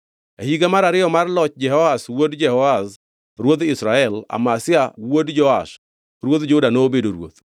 E higa mar ariyo mar loch Jehoash wuod Jehoahaz ruodh Israel, Amazia wuod Joash ruodh Juda nobedo ruoth.